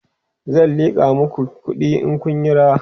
zan liƙa maku kuɗi in Kun Yi rawa